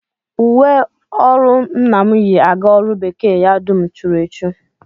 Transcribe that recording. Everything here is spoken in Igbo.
Uwe ọrụ nna m yi aga ọrụ bekee ya dum churu echu